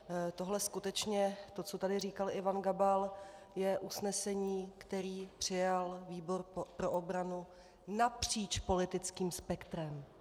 Tohle skutečně, to, co tady říkal Ivan Gabal, je usnesení, které přijal výbor pro obranu napříč politickým spektrem.